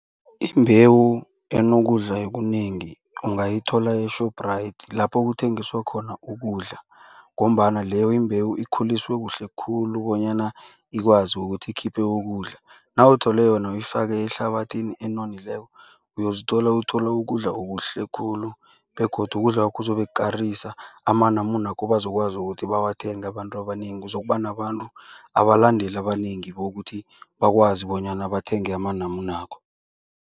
Imbewu enokudla okunengi ungayithola e-Shoprite lapho kuthengiswa khona ukudla. Ngombana leyo imbewu ikhuliswe kuhle khulu bonyana ikwazi ukuthi ikhiphe ukudla. Nawuthole yona uyifake ehlabathini enonileko uyozithola uthola ukudla okuhle khulu begodu kudlakwakho kuzobe kukarisa. Amanamune wakho bazokwazi ukuthi bawathenge abantu abanengi, uzokuba nabantu abalandeli abanengi bokuthi bakwazi bonyana bathenge amanamunakho.